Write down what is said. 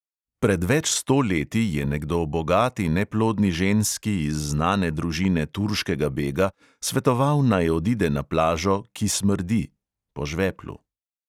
Pred več sto leti je nekdo bogati neplodni ženski iz znane družine turškega bega svetoval, naj odide na plažo, "ki smrdi" (po žveplu).